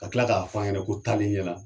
Ka tila k'a fan ɲɛna ko taale ɲɛna.